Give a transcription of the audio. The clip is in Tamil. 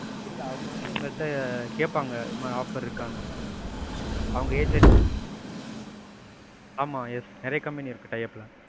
இல்ல அவங்க வந்து எங்ககிட்ட கேப்பாங்க. ஏதாவது offer இருக்கானு, அவங்க agent. ஆமா yes நிறையா company இருக்கு tie up ல.